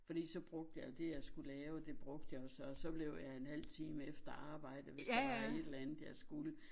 Fordi så brugte jeg det jeg skulle lave det brugte jeg jo så og så blev jeg en halv time efter arbejde hvis der var et eller andet jeg skulle